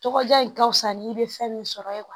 Tɔgɔda in ka fisa ni bɛ sɔrɔ ye